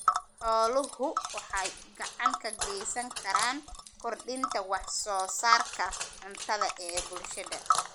Xooluhu waxay gacan ka geysan karaan kordhinta wax soo saarka cuntada ee bulshada.